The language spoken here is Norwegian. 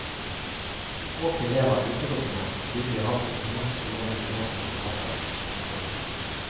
Språket lever utelukkende fordi vi har hatt noen store nynorske forfattere. punktum